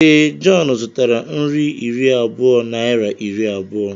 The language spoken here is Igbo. Ee, John zụtara nri iri abụọ naịra iri abụọ.